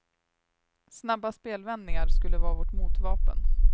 Snabba spelvändningar skulle vara vårt motvapen.